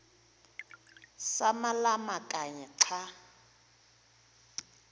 samalama kanye xa